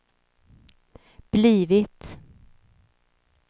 blivit